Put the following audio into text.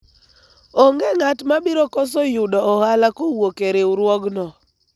onge ng'at mabiro koso yudo ohala kowuok e riwuogno